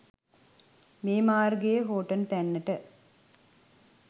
මේ මාර්ගයේ හෝර්ටන් තැන්නට